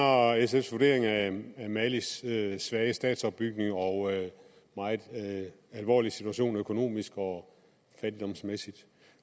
sfs vurdering af malis svage statsopbygning og meget alvorlige situation økonomisk og fattigdomsmæssigt